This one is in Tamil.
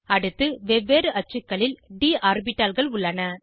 அடுத்து வெவ்வேறு அச்சுக்களில் ட் ஆர்பிட்டால்கள் உள்ளன